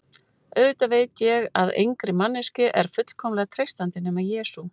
Auðvitað veit ég að engri manneskju er fullkomlega treystandi, nema Jesú